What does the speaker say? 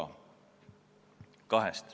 Neid on kaks.